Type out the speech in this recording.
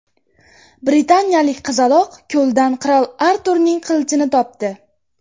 Britaniyalik qizaloq ko‘ldan qirol Arturning qilichini topdi.